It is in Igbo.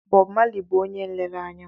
Bob Marley bụ onye nlereanya m.